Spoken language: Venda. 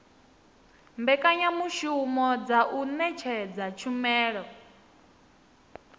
mbekanyamushumo dza u ṅetshedza tshumelo